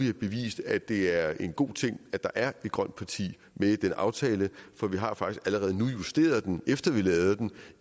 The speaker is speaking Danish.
har bevist at det er en god ting at der er et grønt parti med i den aftale for vi har faktisk allerede justeret den efter vi lavede den